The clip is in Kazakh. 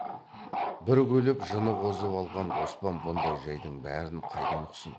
бір күліп жыны қозып алған оспан бұндай жайдың бәрін қайдан ұқсын